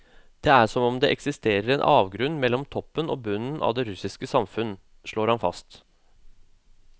Det er som om det eksisterer en avgrunn mellom toppen og bunnen av det russiske samfunn, slår han fast.